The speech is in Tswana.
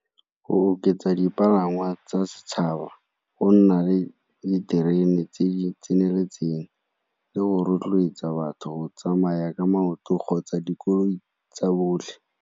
Go oketsa dipalangwa tsa setšhaba, go nna le diterene tse di tseneletseng, le go rotloetsa batho go tsamaya ka maoto kgotsa dikoloi tsa botlhe.